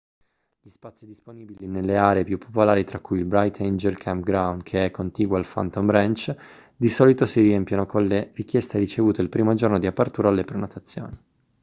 gli spazi disponibili nelle aree più popolari tra cui il bright angel campground che è contiguo al phantom ranch di solito si riempiono con le richieste ricevute il primo giorno di apertura alle prenotazioni